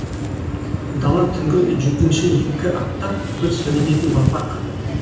дала түнгі жүргінші екі аттап бір сүрінетін батпақ